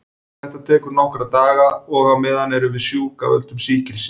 Þetta tekur nokkra daga og á meðan erum við sjúk af völdum sýkilsins.